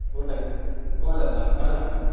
ಊಟಕ್ಕೆ ಕೋಳಿ ಅಲಾ.